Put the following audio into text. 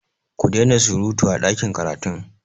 Ku dai na surutu a ɗakin karatun!